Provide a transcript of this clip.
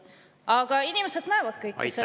Aga inimesed näevad kõike seda.